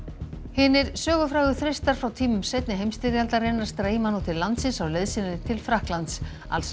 hinir sögufrægu þristar frá tímum seinni heimstyrjaldarinnar streyma nú til landsins á leið sinni til Frakklands alls